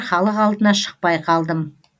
халық алдына шықпай қалдым